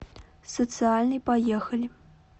социальный поехали